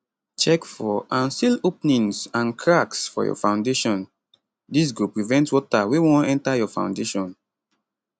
check for and seal openings and cracks for your foundation dis go prevent water wey wan enta your foundation